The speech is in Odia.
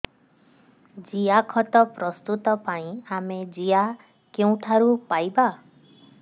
ଜିଆଖତ ପ୍ରସ୍ତୁତ ପାଇଁ ଆମେ ଜିଆ କେଉଁଠାରୁ ପାଈବା